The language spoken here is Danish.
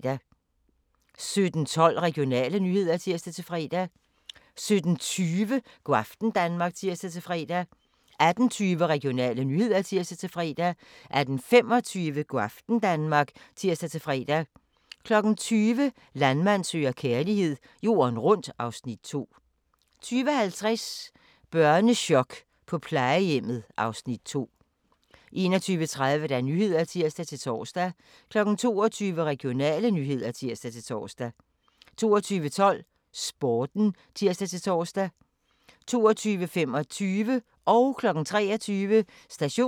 17:12: Regionale nyheder (tir-fre) 17:20: Go' aften Danmark (tir-fre) 18:20: Regionale nyheder (tir-fre) 18:25: Go' aften Danmark (tir-fre) 20:00: Landmand søger kærlighed - jorden rundt (Afs. 2) 20:50: Børnechok på plejehjemmet (Afs. 2) 21:30: Nyhederne (tir-tor) 22:00: Regionale nyheder (tir-tor) 22:12: Sporten (tir-tor) 22:25: Station 2: Politirapporten